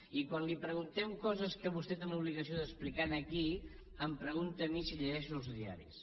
i quan li preguntem coses que vostè té l’obligació d’explicar aquí em pregunta a mi si llegeixo els diaris